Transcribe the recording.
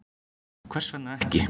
Og hvers vegna ekki?